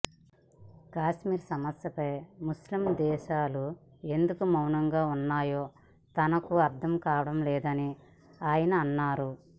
కశ్మీర్ సమస్యపై ముస్లిం దేశాలు ఎందుకు మౌనంగా ఉంటున్నాయో తనకు అర్థం కావడం లేదని ఆయన అన్నారు